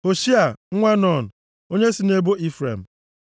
Hoshea nwa Nun, onye si nʼebo Ifrem